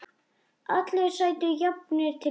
Allir sætu jafnir til borðs.